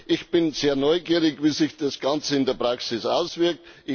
Ich bin sehr neugierig, wie sich das Ganze in der Praxis auswirkt.